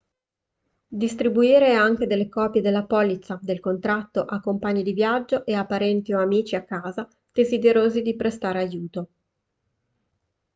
distribuire anche delle copie della polizza/del contatto a compagni di viaggio e a parenti o amici a casa desiderosi di prestare aiuto